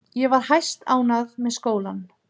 Ég var hæstánægð með skólann.